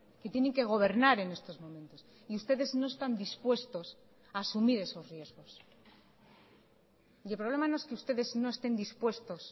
que tienen que gobernar en estos momentos y ustedes no están dispuestos a asumir esos riesgos y el problema no es que ustedes no estén dispuestos